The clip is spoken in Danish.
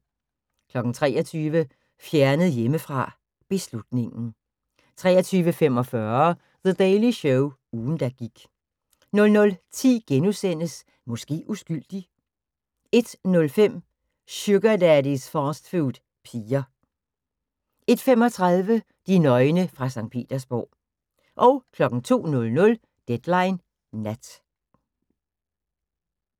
23:00: Fjernet hjemmefra: Beslutningen 23:45: The Daily Show – ugen der gik 00:10: Måske uskyldig * 01:05: Sugar Daddys fastfood piger 01:35: De nøgne fra Skt. Petersborg 02:00: Deadline Nat